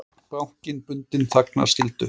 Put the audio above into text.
Bankinn bundinn þagnarskyldu